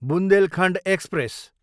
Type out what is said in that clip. Bundelkhand express